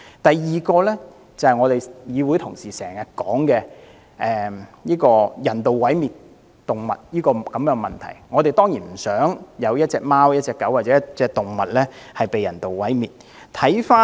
第二，議會同事經常提及人道毀滅動物的問題，我們當然不想有貓、狗或動物被人道毀滅。